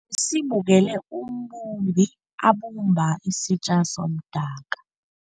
Besibukele umbumbi abumba isitja somdaka.